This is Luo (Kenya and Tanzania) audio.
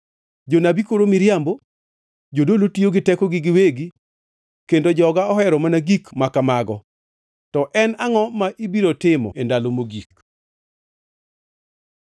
Jonabi koro miriambo, jodolo tiyo gi tekogi giwegi, kendo joga ohero mana gik ma kamago. To en angʼo ma ibiro timo e ndalo mogik?